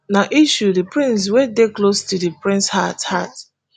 na issue di prince wey dey close to di prince heart heart